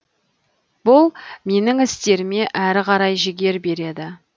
бұл менің істеріме әрі қарай жігер береді